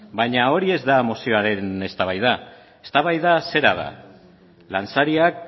baina hori ez da mozioaren eztabaida eztabaida zera da lansariak